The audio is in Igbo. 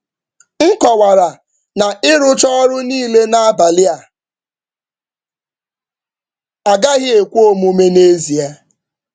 Nkọwara na ịrụcha ọrụ niile n’abalị a agaghị ekwe omume n’ezie.